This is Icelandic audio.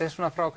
frá